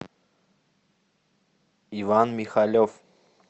иван михалев